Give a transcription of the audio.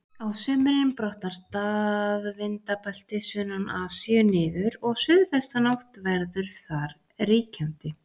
Á sumrin brotnar staðvindabeltið sunnan Asíu niður og suðvestanátt verður þar ríkjandi.